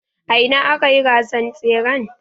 A ina akayi gasan tseren.